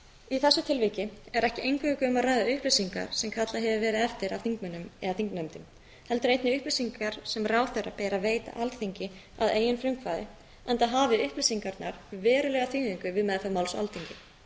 í þessu tilviki er ekki eingöngu um að ræða upplýsingar sem kallað hefur verið eftir af þingmönnum eða þingnefndum heldur einnig upplýsingar sem ráðherra ber að veita alþingi að eigin frumkvæði enda hafi upplýsingarnar verulega þýðingu við meðferð máls á alþingi